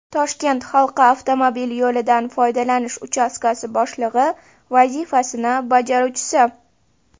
Toshkent halqa avtomobil yo‘lidan foydalanish uchastkasi boshlig‘i vazifasini bajaruvchisi.